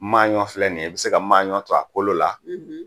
Maaɲɔn filɛ nin ye, i bɛ se ka maaɲɔn to a kolo la,